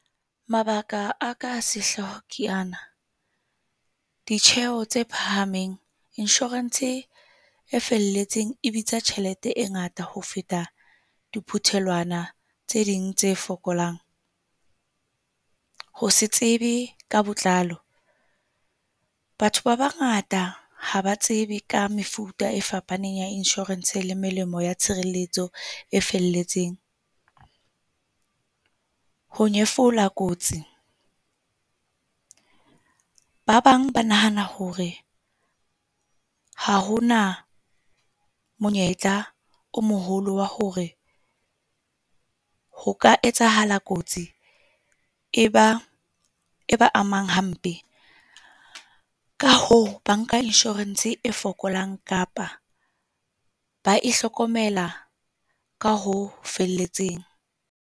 Mabaka a ka sehlooho ke ana, ditjeho tse phahameng. Insurance-e e felletseng e bitsa tjhelete e ngata ho feta diphuthelwana tse ding tse fokolang. Ho se tsebe ka botlalo. Batho ba bangata haba tsebe ka mefuta e fapaneng ya insurance le melemo ya tshireletso e felletseng. Ho nyefola kotsi, ba bang ba nahana hore ha ho na monyetla o moholo wa hore ho ka etsahala kotsi e ba e ba amang hampe ka hoo banka insurance e fokolang, kapa ba ihlokomela ka ho felletseng.